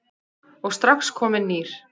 og strax kominn nýr.